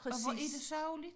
Og hvor er det sørgeligt